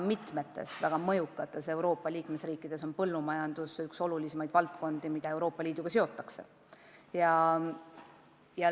Mitmes väga mõjukas Euroopa Liidu liikmesriigis on põllumajandus üks olulisimaid valdkondi, mida Euroopa Liiduga seotakse.